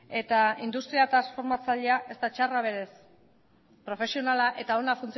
eta industria transformatzailea ez da txarra berez profesionala eta ona